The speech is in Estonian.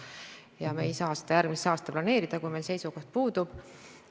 Minu vastutusalas olev väliskaubandus tähendabki seda, et suund on järgida neid ühiseid põhimõtteid.